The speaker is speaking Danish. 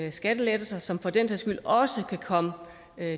og skattelettelser som for den sags skyld også kan komme